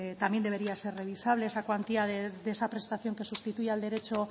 también debería ser revisable esa cuantía de esa prestación que sustituye al derecho